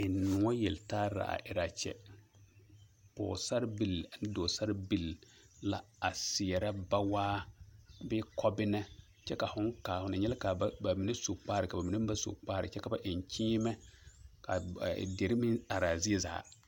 Ennoɔ yeltare la a erɛ a kyɛ, pɔɔsarebil ane dɔɔsarebil la a seɛrɛ bawaa bee kɔbena kyɛ ka hõõ kaa ho na nyɛ la k'o mine su kpare k'o mine meŋ ba su kpare kyɛ ka ba eŋ kyeemɛ k'a dire meŋ araa zie zaa.